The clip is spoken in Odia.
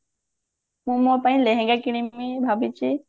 ମୁଁ ମୋ ପାଇଁ ଲେହେଙ୍ଗା କିଣିମି ଭାବିଛି